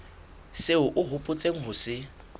seo o hopotseng ho se